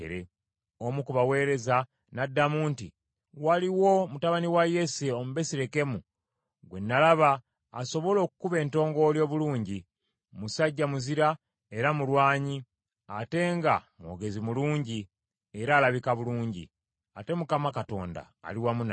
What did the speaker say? Omu ku baweereza n’addamu nti, “Waliwo mutabani wa Yese Omubesirekemu gwe nalaba asobola okukuba entongooli obulungi. Musajja muzira era mulwanyi, ate nga mwogezi mulungi, era alabika bulungi. Ate Mukama Katonda ali wamu naye.”